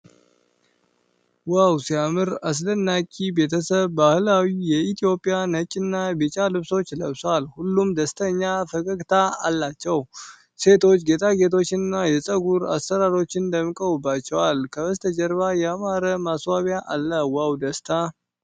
ዋው ሲያምር! አስደናቂ ቤተሰብ በባህላዊ የኢትዮጵያ ነጭና ቢጫ ልብሶች ለብሷል። ሁሉም ደስተኛና ፈገግታ አላቸው። ሴቶች ጌጣጌጦችንና የፀጉር አሰራሮችን ደምቀውባቸዋል። ከበስተጀርባ ያማረ ማስዋቢያ አለ። ዋው ደስታ!